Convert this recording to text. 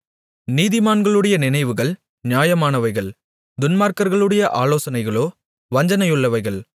நீதிமான்களுடைய நினைவுகள் நியாயமானவைகள் துன்மார்க்கர்களுடைய ஆலோசனைகளோ வஞ்சனையுள்ளவைகள்